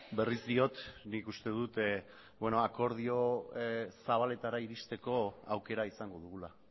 berriz diot nik uste dut akordio zabaletara iristeko aukera izango dugula